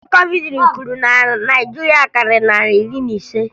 Ndị COVID gburu na Naịjirịa karịrị narị ise na iri ise